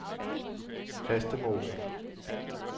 Fastemose